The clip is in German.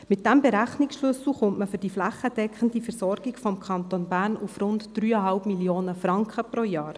Mit diesem Berechnungsschlüssel kommt man für die flächendeckende Versorgung des Kantons Berns auf rund 3,5 Mio. Franken jährlich.